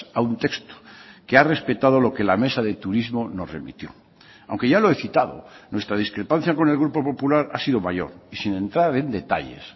a un texto que ha respetado lo que la mesa de turismo nos remitió aunque ya lo he citado nuestra discrepancia con el grupo popular ha sido mayor y sin entrar en detalles